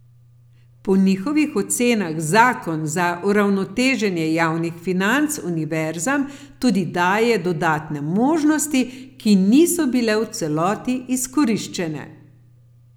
Po njihovih ocenah zakon za uravnoteženje javnih financ univerzam tudi daje dodatne možnosti, ki niso bile v celoti izkoriščene.